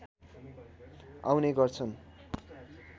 आउने गर्छन्